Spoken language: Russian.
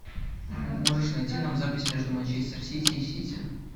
можешь найти нам запись между манчестер сити и сити